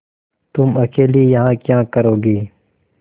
तुम अकेली यहाँ क्या करोगी